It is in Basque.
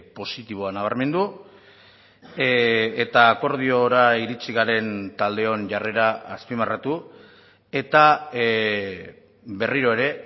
positiboa nabarmendu eta akordiora iritsi garen taldeon jarrera azpimarratu eta berriro ere